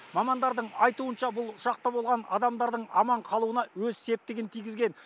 мамандардың айтуынша бұл ұшақта болған адамдардың аман қалуына өз септігін тигізген